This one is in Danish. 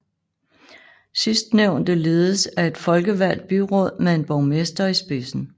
Sidstnævnte ledes af et folkevalgt byråd med en borgmester i spidsen